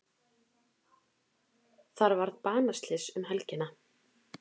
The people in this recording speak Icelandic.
Þar varð banaslys um helgina.